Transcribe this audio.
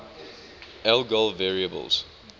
algol variables